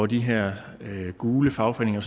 de her gule fagforeninger